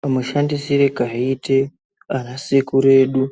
Kamushandisire kaiite anasekuru edu